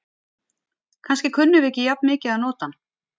Kannski kunnum við ekki jafn mikið að nota hann.